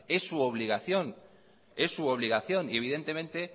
es su obligación y evidentemente